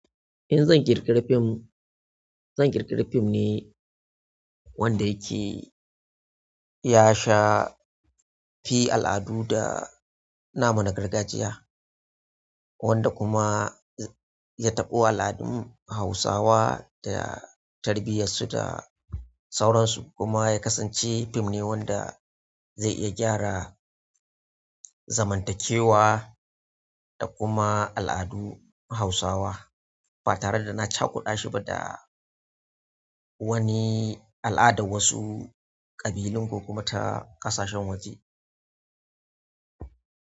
In zan kirkiri fim zan kirkiri fim ne wanda yake ya sha fi al'adu da nama na gargajiya, wanda kuma ya taɓo al'adun Hausawa da tarbiyarsu da sauransu. Kuma ya kasance fim ne wanda zai iya gyara zamantakewa da kuma al'adun hausawa ba tare da na cakudashi da wani al'adar wasu ƙabilun ko kuma ta ƙasashen waje.